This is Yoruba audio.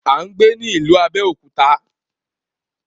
A ń gbé ní ìlú Abéòkúta.